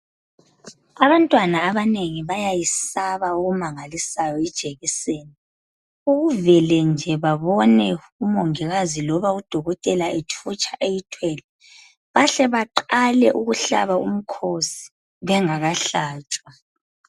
Abantwana abanengi bayayesaba okumangalisayo ijekiseni ukuvele babone nje udokotela kumbe umongikazi ethutsha eyithwele bahle baqale ukuhlaba umkhosi bengakahlatshwa